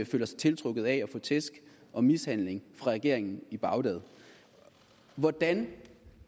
føler sig tiltrukket af at få tæsk og mishandling af regeringen i bagdad hvordan